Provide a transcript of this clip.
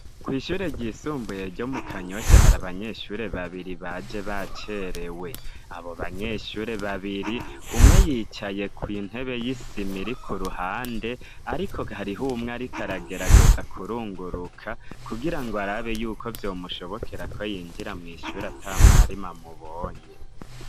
Kw'ishure ry'isumbuye ryo mu Kanyosha hari abanyeshure babiri baje bacerewe abo banyeshure babiri umwe yicaye ku intebe y'isimiri ku ruhande ariko harihumwa rikaragerageza kurunguruka kugira ngo ar abe yuko byomushobokera ko yinjira mu ishura tamwarima mubonye.